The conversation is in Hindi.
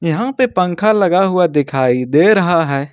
यहां पे पंखा लगा हुआ दिखाई दे रहा है।